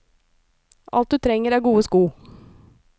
Alt du trenger er gode sko.